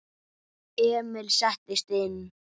Emil settist inn.